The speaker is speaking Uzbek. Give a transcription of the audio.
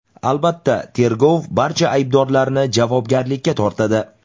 Albatta, tergov barcha aybdorlarni javobgarlikka tortadi.